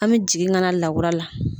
An bɛ jigin kana lakura la.